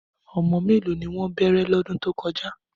Ọmọ méèló ni wọ́n bẹ̀rẹ̀ lọ́dún tó kọjá?